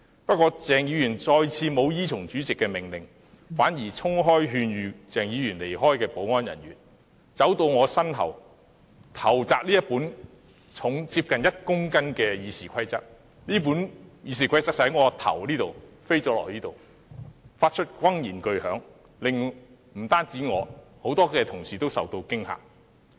不過，鄭議員再次沒有依從主席的命令，反而衝開勸諭他離開的保安人員，走到我身後投擲這本重量接近1公斤的《議事規則》，而那本《議事規則》便從我頭上這裏飛到那裏，發出轟然巨響，不單令我受驚，多位同事也同樣受驚。